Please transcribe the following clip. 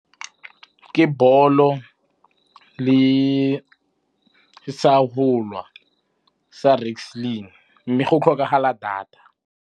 Ke ball-o le sa wrestling, mme go tlhokagala data.